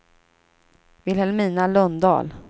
Vilhelmina Lundahl